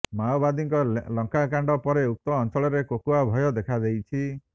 ମାଓବାଦୀଙ୍କ ଲଙ୍କାକଣ୍ଡ ପରେ ଉକ୍ତ ଅଞ୍ଚଳରେ କୋକୁଆ ଭୟ ଦେଖା ଦେଇଛି